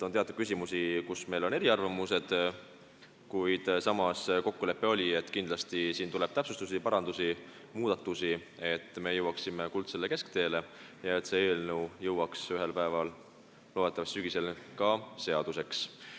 On teatud küsimusi, kus meil on eriarvamusi, kuid samas oli kokkulepe, et kindlasti tuleb täpsustusi, parandusi ja muudatusi, et me saaksime leida kuldse kesktee ja see eelnõu saaks ühel päeval – loodetavasti sügisel – ka seaduseks.